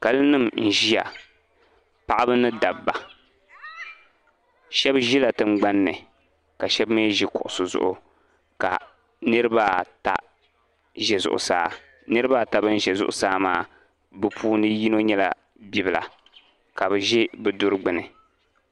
Kali nima n ʒia paɣaba ni dabba sheba ʒila tingbanni ka sheba mee ʒi kuɣusi zuɣu ka niriba ata ʒɛ zuɣusaa niriba ata ban ʒɛ zuɣusaa maa bɛ puuni yino nyɛla bibila ka bɛ ʒɛ bɛ duri gbini.